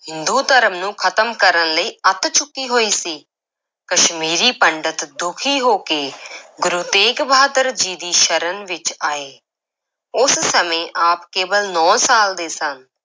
ਹਿੰਦੂ ਧਰਮ ਨੂੰ ਖਤਮ ਕਰਨ ਲਈ ਅੱਤ ਚੁੱਕੀ ਹੋਈ ਸੀ, ਕਸ਼ਮੀਰੀ ਪੰਡਤ ਦੁਖੀ ਹੋ ਕੇ ਗੁਰੂ ਤੇਗ ਬਹਾਦਰ ਜੀ ਦੀ ਸ਼ਰਨ ਵਿੱਚ ਆਏ, ਉਸ ਸਮੇਂ ਆਪ ਕੇਵਲ ਨੌਂ ਸਾਲ ਦੇ ਸਨ।